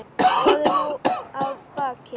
Það er nú að baki.